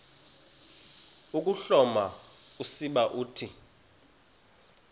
ukuhloma usiba uthi